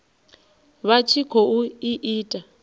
vha tshi khou i ita